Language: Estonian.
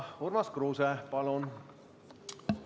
Urmas Kruuse, palun!